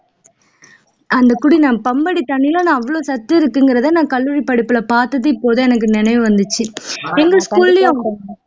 அந்த குடி பம்படி தண்ணில நான் அவ்வளவு சத்து இருக்குங்கிறதை நான் கல்லூரி படிப்புல பாத்தது இப்போதான் நினைவு வந்துச்சு எங்க school லயும்